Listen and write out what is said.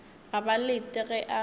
ga ba lete ge a